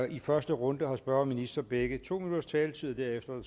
i første runde har spørger og minister begge to minutters taletid og derefter er